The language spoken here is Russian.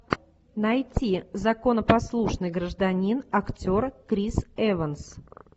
найти законопослушный гражданин актер крис эванс